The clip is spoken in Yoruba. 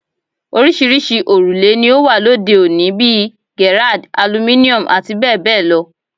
Oríṣiríṣi òrùlé ni ó wà lóde òní bíi Gerrard, Aluminum àti bẹ́ẹ̀ bẹ́ẹ̀ lọ